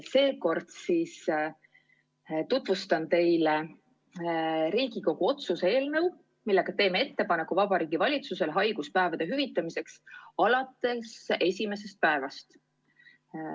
Seekord siis tutvustan teile Riigikogu otsuse eelnõu, millega teeme Vabariigi Valitsusele ettepaneku haiguspäevade hüvitamiseks alates esimesest päevast.